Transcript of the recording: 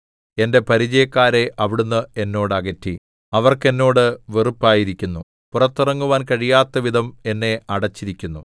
എന്റെ പരിചയക്കാരെ അവിടുന്ന് എന്നോട് അകറ്റി അവർക്ക് എന്നോട് വെറുപ്പായിരിക്കുന്നു പുറത്തിറങ്ങുവാൻ കഴിയാത്തവിധം എന്നെ അടച്ചിരിക്കുന്നു